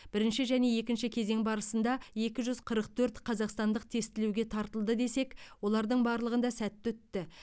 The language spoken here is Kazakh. бірінші және екінші кезең барысында екі жүз қырық төрт қазақстандық тестілеуге тартылды десек олардың барлығында сәтті өтті